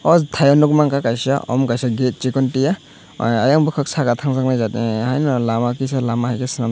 aw tai o nugmanka kaisa omo kaisa gate chikon tia eiang bokuk saka tang jaknai haino lama kisa lama hai ke swnamjak.